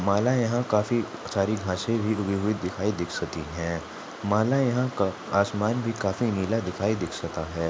माला यहा काफी सारे घासे भी उगी दिखाई दिक्सती है माला यहा का आसमान भी काफी नीला दिखाई दिक्सता है।